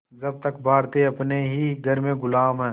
जब तक भारतीय अपने ही घर में ग़ुलाम हैं